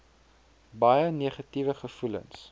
baie negatiewe gevoelens